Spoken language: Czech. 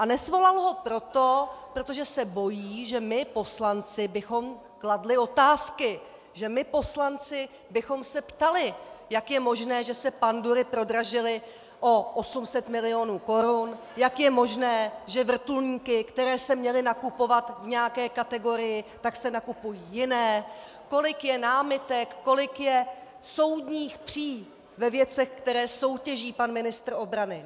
A nesvolal ho proto, protože se bojí, že my poslanci bychom kladli otázky, že my poslanci bychom se ptali, jak je možné, že se pandury prodražily o 800 milionů korun, jak je možné, že vrtulníky, které se měly nakupovat v nějaké kategorii, tak se nakupují jiné, kolik je námitek, kolik je soudních pří ve věcech, které soutěží pan ministr obrany.